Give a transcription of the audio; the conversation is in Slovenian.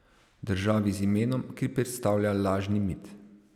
Državi z imenom, ki predstavlja lažni mit?